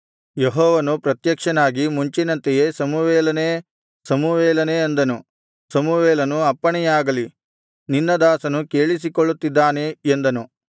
ಯೆಹೋವನು ಪ್ರತ್ಯಕ್ಷನಾಗಿ ಮುಂಚಿನಂತೆಯೇ ಸಮುವೇಲನೇ ಸಮುವೇಲನೇ ಅಂದನು ಸಮುವೇಲನು ಅಪ್ಪಣೆಯಾಗಲಿ ನಿನ್ನ ದಾಸನು ಕೇಳಿಸಿಕೊಳ್ಳುತ್ತಿದ್ದಾನೆ ಎಂದನು